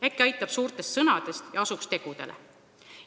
Äkki aitab suurtest sõnadest ja asuks tegudele!